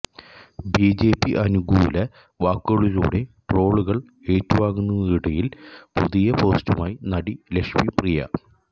BJP അനുകൂല വാക്കുകളിലൂടെ ട്രോളുകൾ ഏറ്റുവാങ്ങുന്നതിനിടയിൽ പുതിയ പോസ്റ്റുമായി നടി ലക്ഷ്മി പ്രിയ